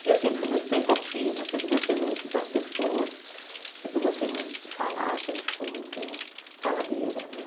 Porque eu sempre fui muito pensativa, sempre gostei muito das pessoas, sempre gostei muito de falar, sempre fui muito faladeira, né?